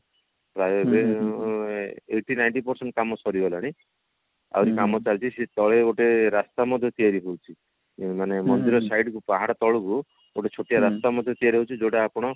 ଆଉ ଯୋଉ eighty ninety percent କାମ ସରିଗଲାଣି ଆହୁରି କାମ ଚାଲିଛି ସିଏ ତଳେ ରାସ୍ତା ମଧ୍ୟ ତିଆରି ହଉଛି ମାନେ ମନ୍ଦିର side କୁ ପାହାଡ ତଳକୁ ଗୋଟେ ଛୋଟିଆ ରାସ୍ତା ମଧ୍ୟ ତିଆରି ହଉଛି ଯୋଉଟା ଆପଣ